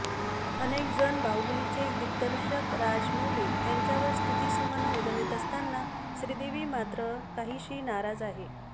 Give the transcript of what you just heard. अनेक जण बाहुबलीचे दिग्दर्शक राजमौली यांच्यावर स्तुतिसुमनं उधळत असताना श्रीदेवी मात्र काहीशी नाराज आहे